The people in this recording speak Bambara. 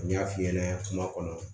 N y'a f'i ɲɛna kuma kɔnɔ